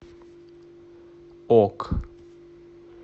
ок